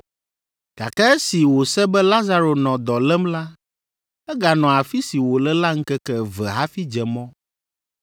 gake esi wòse be Lazaro nɔ dɔ lém la, eganɔ afi si wòle la ŋkeke eve hafi dze mɔ.